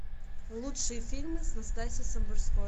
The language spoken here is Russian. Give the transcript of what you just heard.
лучшие фильмы с настасьей самбурской